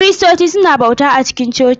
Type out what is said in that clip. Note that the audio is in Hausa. Kiristoci suna bauta a cikin coci.